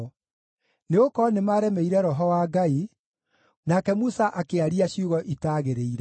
nĩgũkorwo nĩmaremeire Roho wa Ngai, nake Musa akĩaria ciugo itaagĩrĩire.